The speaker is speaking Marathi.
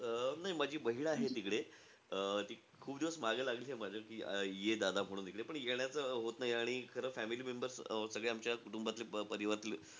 अं नाही माझी बहीण आहे तिकडे. अं ती खूप दिवस मागे लागलेलीयं माझ्या की, ये दादा म्हणून इकडं. पण येण्याचं होत नाही. आणि खरं family members सगळे आमच्या कुटुंबातले, परिवारातले,